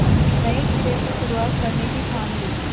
नए सिरे से शुरुआत करने की ठान ली